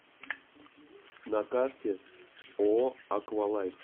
на карте ооо аквалайф